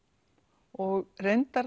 og reyndar